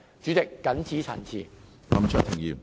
主席，我謹此陳辭。